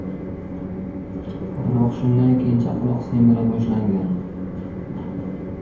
Biroq shundan keyin chaqaloq semira boshlangan.